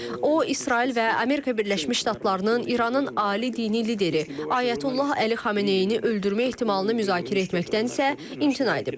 O, İsrail və Amerika Birləşmiş Ştatlarının İranın ali dini lideri Ayətullah Əli Xameneyini öldürmə ehtimalını müzakirə etməkdənsə, imtina edib.